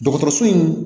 Dɔgɔtɔrɔso in